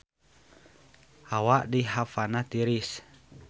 Hawa di Havana tiris